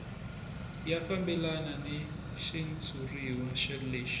ya fambelana ni xitshuriwa lexi